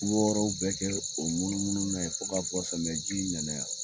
Wɔɔrɔw bɛɛ kɛ munumunu na yen fo ka bɔ samiyɛji nana yan